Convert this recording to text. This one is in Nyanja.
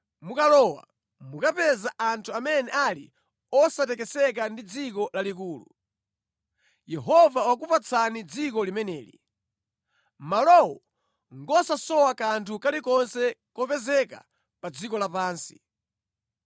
Mukalowa, mukapeza anthu amene ali osatekeseka ndi dziko lalikulu. Yehova wakupatsani dziko limeneli. Malowo ngosasowa kanthu kalikonse kopezeka pa dziko lapansi.”